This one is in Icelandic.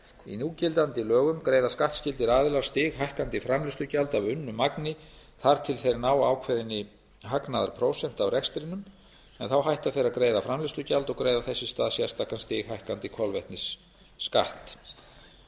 í núgildandi lögum greiða skattskyldir aðilar stighækkandi framleiðslugjald af unnu magni þar til þeir ná ákveðinni hagnaðarprósentu af rekstrinum en þá hætta þeir að greiða framleiðslugjald og greiða þess í stað sérstakan stighækkandi kolvetnisskatt